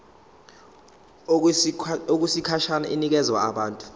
okwesikhashana inikezwa abantu